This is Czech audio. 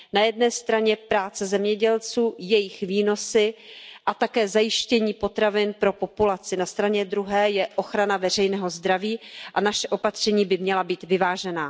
Na jedné straně práce zemědělců, jejich výnosy a také zajištění potravin pro populaci. Na straně druhé je ochrana veřejného zdraví a naše opatření by měla být vyvážená.